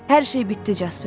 Hər şey bitdi, Casper.